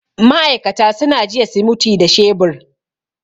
ma'aikata suna jiya simuti da shebur